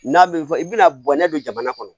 N'a bɛ fɔ i bɛna bɔnɛ don jamana kɔnɔ